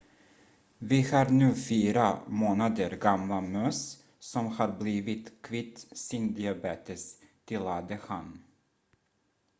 vi har nu 4 månader gamla möss som har blivit kvitt sin diabetes tillade han